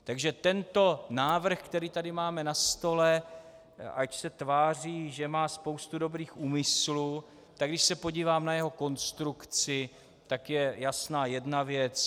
Takže tento návrh, který tady máme na stole, ač se tváří, že má spoustu dobrých úmyslů, tak když se podívám na jeho konstrukci, tak je jasná jedna věc.